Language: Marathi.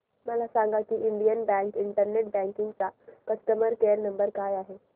मला सांगा की इंडियन बँक इंटरनेट बँकिंग चा कस्टमर केयर नंबर काय आहे